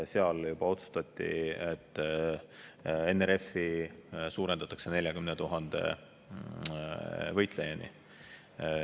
Juba siis otsustati, et NRF-i suurendatakse 40 000 võitlejani.